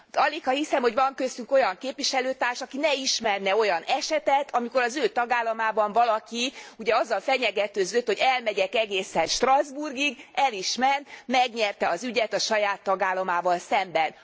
Aligha hiszem, hogy van köztünk olyan képviselőtárs, aki ne ismerne olyan esetet, amikor az ő tagállamában valaki azzal fenyegetőzött, hogy elmegyek egészen Strasbourgig, el is ment, megnyerte az ügyet a saját tagállamával szemben.